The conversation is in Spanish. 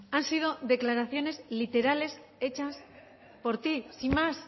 han sido declaraciones literales hechas por ti sin más